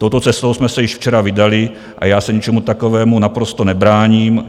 Touto cestou jsme se již včera vydali a já se ničemu takovému naprosto nebráním.